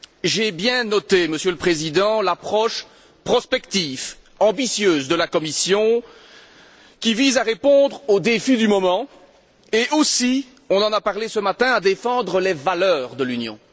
J'ai bien noté, Monsieur le Président, l'approche prospective, ambitieuse, de la Commission, qui vise à répondre aux défis du moment et aussi on en a parlé ce matin à défendre les valeurs de l'Union.